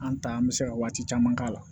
An ta an bɛ se ka waati caman k'a la